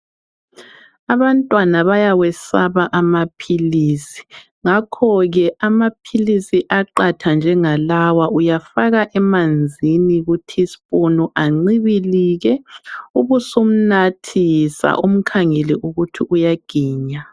Abantwana bayawesaba amaphilisi, ngakho ke amaphilisi aqatha njengalawa uyafaka emanzini ku teaspoon ancibilike ubusumnathisa umkhangele ukuthi uyaginya.